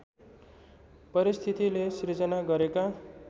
परिस्थितिले सिर्जना गरेका